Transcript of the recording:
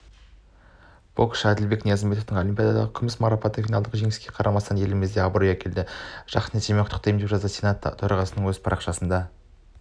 боксшы әділбек ниязымбетовтың олимпиададағы күміс марапаты финалдық жеңіліске қарамастан елімізге абырой әкелді жақсы нәтиже құттықтаймын деп жазды сенат төрағасы өзінің парақшасында